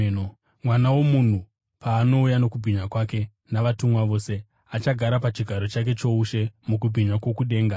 “Mwanakomana woMunhu paanouya nokubwinya kwake, navatumwa vose, achagara pachigaro chake choushe mukubwinya kwokudenga.